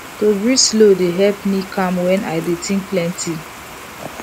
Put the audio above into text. to breathe slow dey help me calm when i dey think plenty